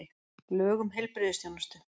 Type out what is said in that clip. Lög um heilbrigðisþjónustu.